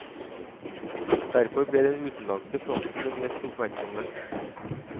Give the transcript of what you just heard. Derfor ble den utenlandske fronten den mest oppmerksomme.